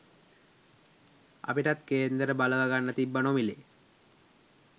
අපිටත් කේන්දර බලව ගන්න තිබ්බ නොමිලේ